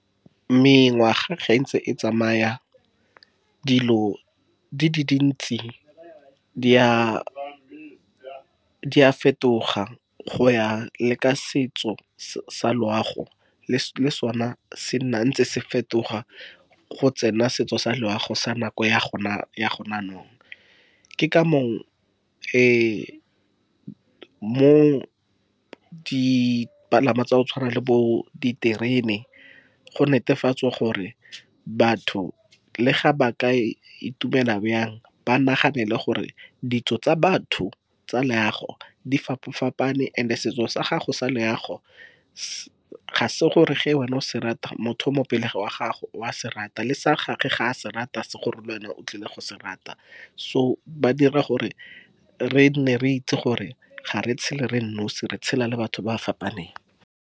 Mengwaga ge e ntse e tsamaya dilo di le dintsi di a fetoga go ya le ka setso sa loago, le sona se nna ntse se fetoga go tsena setso sa loago sa nako ya gona jaanong ke ka moo mo di palangwa tsa go tshwana le bo diterene go netefatswa gore batho le ga ba ka itumela bjang ba naganele gore ditso tsa batho tsa loago di fapa-fapane, and-e setso sa gago sa leago ga se gore ge wena o se rata motho o mo pele ga gago o a se rata le sa gagwe, ga a se rata ga se gore lwena o tlile go se rata, so ba dira gore re nne re itse gore ga re tshele re le nosi re tshela le batho ba fapaneng.